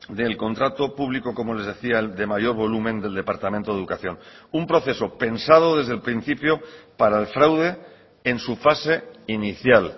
del contrato público como les decía de mayor volumen del departamento de educación un proceso pensado desde el principio para el fraude en su fase inicial